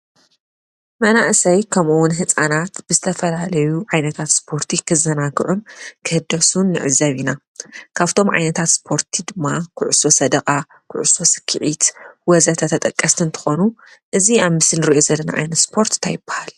መናእሰይ ከምኡውን ህፃናት ብዝተፈላለዩ ዓይነታት ስፖርቲ ክዘናግዑን ክህደሱን ንዕዘብ ኢና፡፡ ካፍቶም ዓይነታት ስፓርት ድማ ኩዕሶ ሰደቓ፣ ኩዕሶ ሰኪዔት ወዘተ ተጠቀስቲ እንትኾኑ እዚ ኣብ ምስሊ እንሪኦ ዘለና ስፖርት እንታይ ይባሃል?